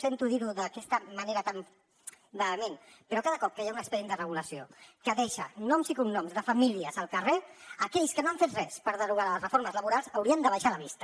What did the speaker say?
sento dir ho d’aquesta manera tan vehement però cada cop que hi ha un expedient de regulació que deixa noms i cognoms de famílies al carrer aquells que no han fet res per derogar les reformes laborals haurien d’abaixar la vista